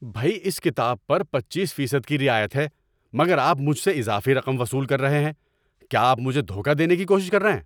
بھئی! اس کتاب پر پچیس فیصد کی رعایت ہے مگر آپ مجھ سے اضافی رقم وصول کر رہے ہیں۔ کیا آپ مجھے دھوکہ دینے کی کوشش کر رہے ہیں؟